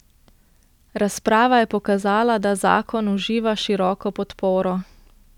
Razprava je pokazala, da zakon uživa široko podporo.